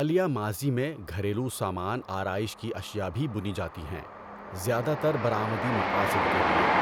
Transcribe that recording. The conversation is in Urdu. حالیہ ماضی میں، گھریلو سامان آرائش کی اشیاء بھی بُنی جاتی ہیں، زیادہ تر برآمدی مقاصد کے لیے۔